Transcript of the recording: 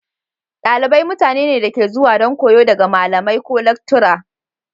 Dalibai mutane ne da suke zuwa don koyo daga malamai/lactura.